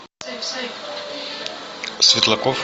светлаков